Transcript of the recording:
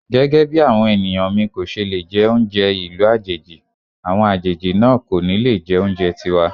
Gẹ́gẹ́bí àwọn ènìyàn mi kòṣe lè jẹ oúnjẹ ìlú àjèjì, àwọn àjèjì náà kò ní le jẹ oúnjẹ tiwa.